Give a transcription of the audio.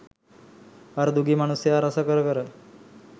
අර දුගී මනුස්සයා රස කර කර